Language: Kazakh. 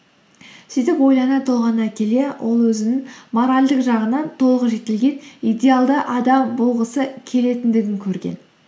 сөйтіп ойлана толғана келе ол өзінің моральдық жағынан толық жетілген идеалды адам болғысы келетіндігін көрген